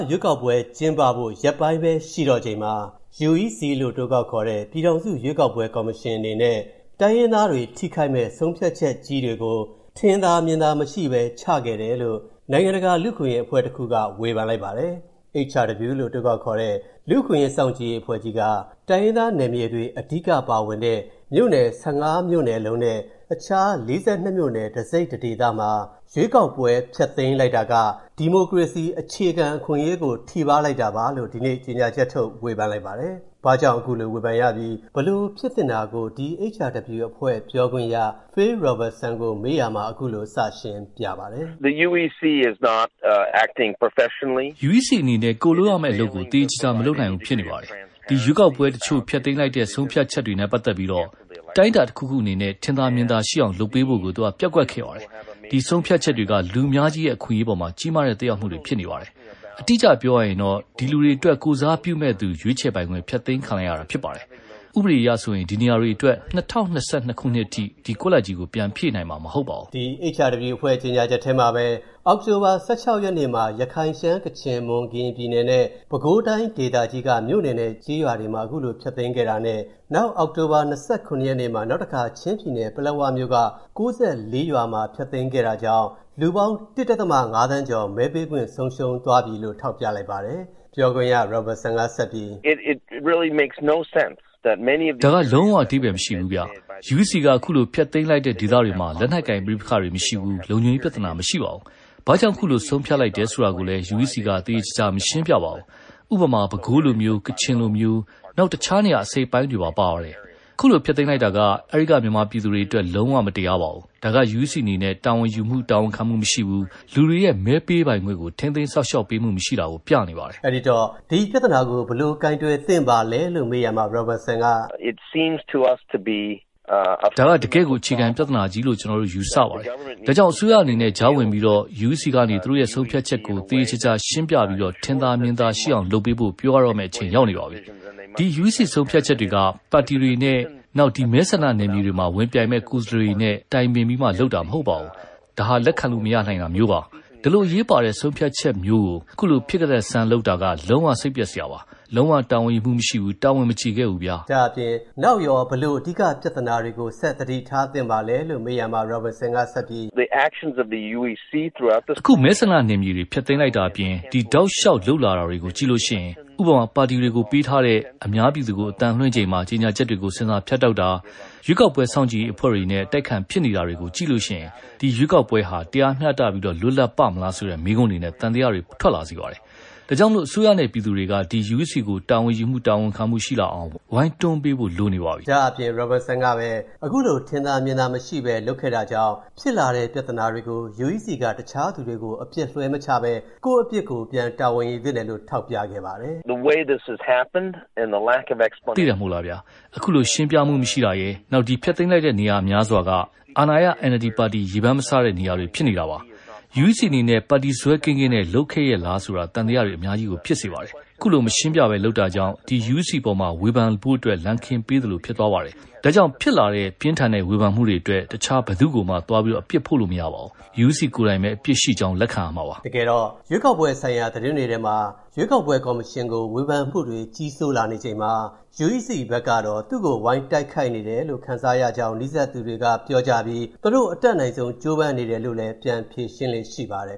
ရွေးကောက်ပွဲ ကျင်းပဖို့ရက်ပိုင်းပဲရှိတော့ချိန်မှာ၊ UEC လို့ အတိုကောက်ခေါ်တဲ့ ပြည်ထောင်စု ရွေးကောက်ပွဲကော်မရှင်အနေနဲ့ တိုင်းရင်းသားတွေ ထိခိုက်မယ့် ဆုံးဖြတ်ချက်ကြီးတွေကို၊ ထင်သာမြင်သာမရှိဘဲ ချခဲ့တယ်လို့၊ နိုင်ငံတကာလူ့အခွင့်အရေးအဖွဲ့တစ်ခုက ဝေဖန်လိုက်ပါတယ်။ ဒီအကြောင်း ဗွီအိုအေမြန်မာပိုင်းသတင်းထောက် ကိုဝင်းမင်းက ပြောပြပေးထားပါတယ်။ HRW လို့ အတိုခေါက်ခေါ်တဲ့ လူ့အခွင့်အရေးစောင့်ကြည့်ရေးအဖွဲ့ကြီးက၊ တိုင်းရင်းသာနယ်မြေတွေအဓိက ပါဝင်တဲ့ မြို့နယ် ၁၅ မြို့လုံးနဲ့ အခြား ၄၂ မြို့နယ်တစိတ်တဒေသမှာ ရွေးကောက်ပွဲ ဖျက်သိမ်းလိုက်တာက၊ ဒီမိုကရေစီအခြေခံအခွင့်အရေးကို ထိပါးလိုက်တာပါလို့ ဒီနေ့ကြေညာချက်ထုတ်လိုက်ပါတယ်။ ဘာကြောင့် ခုလိုဝေဖန်ရပြီး၊ ဘယ်လိုဖြစ်သင့်တာကို HRW အဖွဲ့ပြောခွင့်ရ Phil Robertson ကို ကိုဝင်းမင်းက မေးရာမှာ ခုလိုစရှင်းပြပါတယ်။ "UEC အနေနဲ့ ကိုယ်လုပ်ရမဲ့အလုပ်ကို သေသေချာချာ မလုပ်နိုင်ဘူးဖြစ်နေတယ်။ ဒီရွေးကောက်ပွဲတချို့ ဖျက်သိမ်းလိုက်တဲ့ ဆုံးဖြတ်ချက်တွေနဲ့ ပတ်သက်ပြီး ဘယ်လိုအတိုင်းအတာမျိုးနဲ့မှ ထင်သာမြင်သာ ရှိအောင်လုပ်ပေးဖို့ကို၊ သူက ပျက်ကွက်ခဲ့တယ်။ ဒီဆုံးဖြတ်ချက်တွေက လူအများကြီးရဲ့ အခွင့်အရေးအပေါ် ကြီးမားတဲ့သက်ရောက်မှုတွေ ရှိနေတယ်။ အတိအကျပြောရရင် ဒီလူတွေအတွက်ကိုယ်စားပြုမယ့် သူရွေးချယ်ပိုင်ခွင့် ဖျက်သိမ်းခံလိုက်ရတာဖြစ်တယ်၊ ဥပဒေအရဆိုရင် ဒီနေရာတွေအတွက် ၂၀၂၂ ခုနှစ်အထိ ဒီကွက်လပ်ကြီးကို ပြန်ဖြည့်နိုင်မှာ မဟုတ်ဘူး။" ဒီ HRW အဖွဲ့ကြေညာချက်ထဲမှာပဲ အောက်တိုဘာ ၁၆ ရက်နေ့မှာ ရခိုင်၊ ရှမ်း၊ ကချင်၊ မွန်၊ ကရင်ပြည်နယ်နဲ့ ပဲခူးတိုင်းဒေသကြီးက မြို့နယ်နဲ့ကျေးရွာတွေမှာ ခုလိုဖျက်သိမ်းခဲ့တာနဲ့ နောက်အောက်တိုဘာ ၂၇ ရက်နေ့မှာ နောက်တခါ ချင်းပြည်နယ်၊ ပလက်ဝမြို့နယ်က ၉၄ ရွာမှာ ဖျက်သိမ်းခဲ့တာကြောင့် လူပေါင်း ၁.၅ သန်းကျော် မဲပေးခွင့်ဆုံးရှုံးသွားပြီလို့ ထောက်ပြလိုက်ပါတယ်။ ပြောခွင့်ရ Robinson က ဆက်ပြီး... "ဒါက လုံးဝ အဓိပ္ပာယ်မရှိဘူးဗျ။ UEC က ခုလို ဖျက်သိမ်းလိုက်တဲ့ ဒေသများစွာမှာ လက်နက်ကိုင်ပဋိပက္ခတွေ မရှိဘူး၊ လုံခြုံရေးပြဿနာမရှိဘူး။ ဘာကြောင့် ခုလိုဆုံးဖြတ်လိုက်တယ်ဆိုတာကိုလည်း UEC က သေသေချာချာ မရှင်းပြဘူး။ ဥပမာ ပဲခူးလိုမျိုး၊ ကချင်လိုမျိုး၊ နောက်တခြားနေရာ အစိတ်အပိုင်းတွေမှာပေါ့နော်၊ ခုလိုဖျက်သိမ်းလိုက်တာက၊ အဲ့ဒီကမြန်မာပြည်သူတွေအတွက် လုံးဝ မတရားပါဘူး။ ဒါ့က UEC အနေနဲ့ တာဝန်ယူတာဝန်ခံမှုမရှိဘူး၊ လူတွေရဲ့မဲပေးပိုင်ခွင့်ကို ထိန်းသိမ်းစောင့်ရှောက်ပေးမှု မရှိတာကို ပြနေပါတယ်။" အဲ့ဒီတော့ ဒီပြဿနာကို ဘယ်လိုကိုင်တွယ်သင့်ပါလဲလို့ မေးရာမှာ Pobertson က - "ဒါက တကယ့်ကို အခြေခံပြဿနာကြီးလို့ ကျနော်တို့ ယူဆပါတယ်။ ဒါကြောင့် အစိုးရအနေနဲ့ ကြားဝင်ပြီး UEC ကနေ သူတို့ ဆုံးဖြတ်ချက်ကို သေသေချာချာရှင်းပြပြီး၊ ထင်သာမြင်သာရှိအောင်လုပ်ပေးဖို့၊ ပြောပေးရတော့မဲ့ အချိန်ရောက်နေပါပြီ။ ဒီ UEC ဆုံးဖြတ်ချက်တွေက ပါတီတွေနဲ့၊ နောက် ဒီမဲဆန္ဒနယ်မြေတွေမှာ ဝင်ပြိုင်မယ့် ကိုယ်စားလှယ်တွေနဲ့ တိုင်ပင်ပြီးမှလုပ်တာမဟုတ်ဘူးလေ။ လက်ခံလို့ မရနိုင်တာမျိုးပါ။ အရေးပါတဲ့ ဒီဆုံးဖြတ်ချက်ကြီးမျိုးကို ခုလိုဖြစ်ကတတ်ဆန်း လုပ်လိုက်တာက၊ လုံးဝစိတ်ပျက်စရာပါ၊ လုံးဝ တာဝန်ယူမှုမရှိဘူး၊ တာဝန်မကျေခဲ့ဘူးဗျာ။" နောက်ရော ဘယ်လို အဓိကပြဿနာတွေကို ဆက်သတိထားသင့်ပါလဲလို့ မေးရာမှာ Robetrson ကပဲ - "အခုမဲဆန္ဒနယ်မြေ ဖျက်သိမ်းတာအပြင် ဒီတောက်လျှောက်လုပ်လာတွေကို ကြည့်လိုက်ရင်၊ ဥပမာ ပါတီတွေကို ပေးထားတဲ့ အများပြည်သူကို အသံလွှင့်ချိန်မှာ ကြေညာချက်တွေကို ဆင်ဆာဖြတ်တာတွေ၊ ရွေးကောက်ပွဲစောင့်ကြည့်ရေးအဖွဲ့တွေနဲ့ အတိုက်အခံဖြစ်နေတာတွေကို ကြည့်လိုက်ရင်၊ အခုရွေးကောက်ပွဲက တရားမျှတပြီး လွတ်လပ်ပါ့မလားဆိုတဲ့မေးခွန်းတွေနဲ့ သံသယတွေ ထွက်လာစေပါတယ်။ ဒါကြောင့် အစိုးရနဲ့ပြည်သူတွေက ဒီ UEC ကို တာဝန်ယူ၊ တာဝန်ခံမှုရှိလာအောင် ဝိုင်းတွန်းပေးဖို့ လိုနေပါပြီ။" ဒါ့အပြင် Robertson က ဆက်ပြီးခုလို ထင်သာမြင်သာမရှိဘဲ လုပ်ခဲ့တာကြောင့် ဖြစ်လာတဲ့ပြဿနာတွေကို UEC က တခြားသူတွေကိုအပစ်လွှဲမချဘဲ၊ ကိုယ့်အပြစ်ကို ပြန်တာဝန်ယူသင့်တယ်လို့ ထောက်ပြခဲ့ပါတယ်။ "သိတယ်မလား၊ အခုလိုရှင်းပြမှုမရှိတာရယ်၊ နောက် ဒီဖျက်သိမ်းလိုက်တဲ့ နေရာများစွာက အစိုးရ ပါတီ NLD ရေပန်းမစားတဲ့နေရာတွေ သွားဖြစ်နေတာမို့၊ UEC အနေနဲ့ ပါတီစွဲကင်းကင်းနဲ့လုပ်ခဲ့ရဲ့လားလို့ သံသယတွေအများကြီးကို ဖြစ်စေပါတယ်။ ခုလို မရှင်းပြဘဲ လုပ်ခဲ့တာကြောင့်၊ ဒီ UEC အပေါ် ဝေဖန်လာဖို့ လမ်းခင်းပေးလိုက်သလို ဖြစ်သွားတယ်လေ။ ဒါကြောင့် ဖြစ်လာတဲ့ ပြင်းထန်တဲ့ဝေဖန်မှုတွေအတွက်၊ တခြားဘယ်သူ့ကိုမှ သွားအပြစ်ပုံချလို့မရပါဘူး။ UEC ကိုယ်တိုင်ပဲ အပြစ်ရှိကြောင်း လက်ခံရတော့မှာပါ။" တကယ်တော့ ရွေးကောက်ပွဲဆိုင်ရာသတင်းတွေထဲမှာ၊ ရွေးကောက်ပွဲကော်မရှင်ကို ဝေဖန်မှုတွေကြီးစိုးလာနေချိန်မှာ၊ UEC ဘက်ကတော့ သူတို့ကို ဝိုင်းတိုက်ခိုက်နေတယ်လို့ ခံစားရလေ့ရှိတယ်လို့ နီးစပ်သူတွေကပြောကြပြီး၊ သူတို့အတတ်နိုင်ဆုံး ကြိုးပမ်းနေတယ်လို့ ပြန်ဖြေရှင်းလေ့ရှိပါတယ်